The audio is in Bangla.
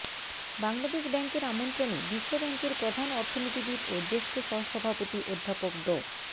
বাংলাদেশ ব্যাংকের আমন্ত্রণে বিশ্বব্যাংকের প্রধান অর্থনীতিবিদ ও জ্যেষ্ঠ সহসভাপতি অধ্যাপক ড